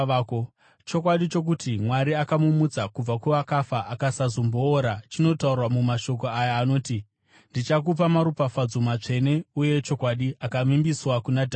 Chokwadi chokuti Mwari akamumutsa kubva kuvakafa, akasazomboora, chinotaurwa mumashoko aya anoti: “ ‘Ndichakupa maropafadzo matsvene, uye echokwadi akavimbiswa kuna Dhavhidhi.’